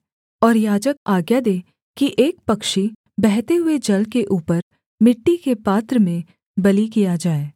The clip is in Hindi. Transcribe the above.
और याजक आज्ञा दे कि एक पक्षी बहते हुए जल के ऊपर मिट्टी के पात्र में बलि किया जाए